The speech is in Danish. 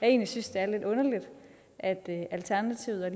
egentlig synes det er lidt underligt at alternativet og